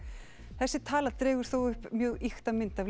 þessi tala dregur þó upp mjög ýkta mynd af